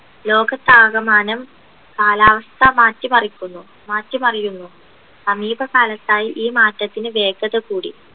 ലോകത്താകമാനം കാലാവസ്ഥ മാറ്റി മറിക്കുന്നു മാറ്റി മറിയുന്നു സമീപകാലത്തായി ഈ മാറ്റത്തിന് വേഗത കൂടി